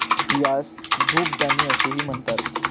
यास धुपदाणी असेही म्हणतात.